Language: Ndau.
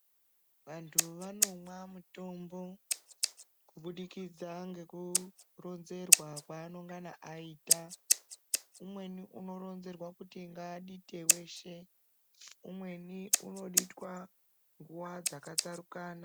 Vantu vanomwa mutombo kubudikidza nekuronzerwa kwaanongana aitwa. Umweni unoronzerwa kuti ngaadite weshe, umweni unoditwa nguwa dzakatsarukana.